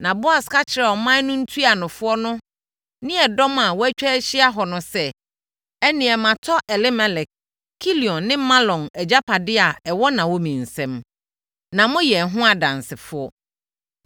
Na Boas ka kyerɛɛ ɔman no ntuanofoɔ no ne ɛdɔm a wɔatwa ahyia hɔ no sɛ, “Ɛnnɛ matɔ Elimelek, Kilion ne Mahlon agyapadeɛ a ɛwɔ Naomi nsam, na moyɛ ɛho adansefoɔ.